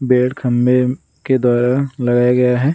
खंभे के द्वारा लगाया गया है।